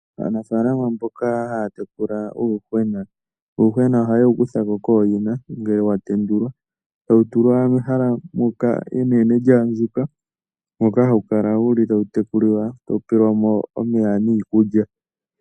Aanafalama mboka haya tekula uuyuhwena. Uuyuhwena ohaye wu kuthako kooyina ngele wa tendulwa, tawu tulwa mehala enene lyaandjuka, moka hawu kala wuli tawu tekulilwa, tawu peelwamo iikulya nomeya.